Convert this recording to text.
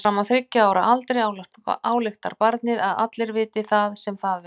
Fram að þriggja ára aldri ályktar barnið að allir viti það sem það veit.